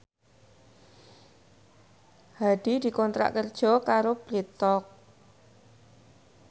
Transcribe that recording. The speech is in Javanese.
Hadi dikontrak kerja karo Bread Talk